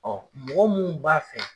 mɔgɔ mun b'a fɛ